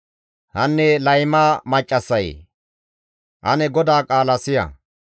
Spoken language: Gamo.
Hanne layma maccassayee, ane GODAA qaala siya!